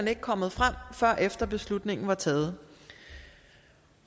er kommet frem før efter at beslutningen er taget